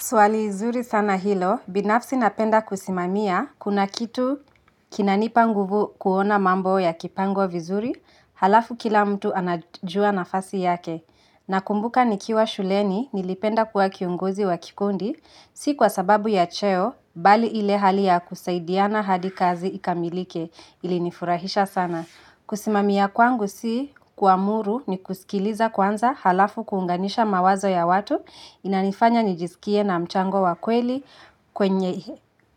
Swali zuri sana hilo, binafsi napenda kusimamia, kuna kitu kinanipa nguvu kuona mambo ya kipangwai vizuri, alafu kila mtu anajua nafasi yake. Nakumbuka nikiwa shuleni nilipenda kuwa kiongozi wa kikundi, si kwa sababu ya cheo, bali ile hali ya kusaidiana hadi kazi ikamilike, ili nifurahisha sana. Kusimamia kwangu si kuamuru ni kusikiliza kwanza halafu kuunganisha mawazo ya watu inanifanya nijisikie na mchango wa kweli